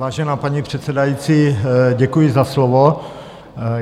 Vážená paní předsedající, děkuji za slovo.